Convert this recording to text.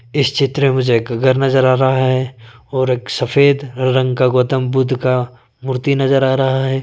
इस चित्र मुझे एक घर नजर आ रहा है और एक सफेद रंग का गौतम बुद्ध का मूर्ति नजर आ रहा है।